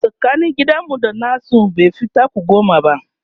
tsakanin gidan mu da nasu baifi taku goma ba